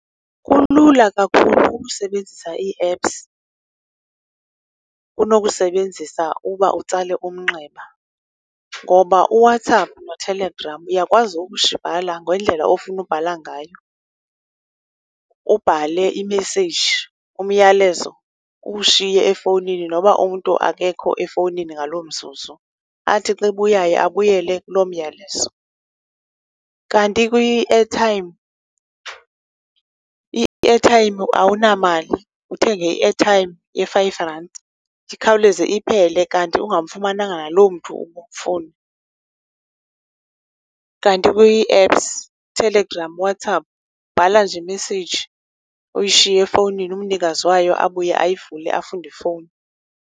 Kulula kakhulu ukusebenzisa ii-apps kunokusebenzisa uba utsale umnxeba, ngoba uWhatsapp noTelegram uyakwazi bhala ngendlela ofuna ubhala ngayo. Ubhale imeseyiji, umyalezo, uwushiye efowunini noba umntu akekho efowunini ngaloo mzuzu. Athi xa ebuyayo, abuyele kuloo myalezo. Kanti kwi-artime, i-artime awunamali, uthenge i-airtime ye-five randi ikhawuleze iphele, kanti ungamfumananga naloo mntu ubumfuna. Kanti kwi-apps, Telegram, Whatsapp, ubhala nje imeseyiji, uyishiye efowunini. Umnikazi wayo abuye, ayivule, afunde ifowuni.